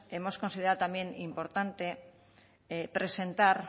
hemos considerado también importante presentar